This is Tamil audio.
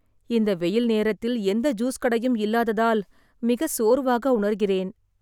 இந்த வெயில் நேரத்தில் எந்த ஜூஸ் கடையும் இல்லாததால் மிக சோர்வாக உணர்கிறேன்.